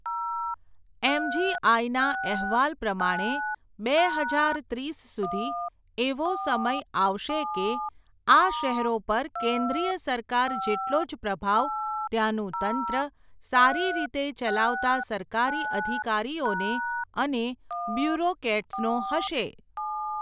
એમજીઆઇના, અહેવાલ પ્રમાણે, બે હજાર ત્રીસ સુધી, એવો સમય આવશે કે, આ શહેરો પર કેન્દ્રિય સરકાર જેટલો જ પ્રભાવ, ત્યાનું તંત્ર, સારી રીતે ચલાવતા સરકારી અધિકારીઓને, અને બ્યુરોકેટ્સનો હશે.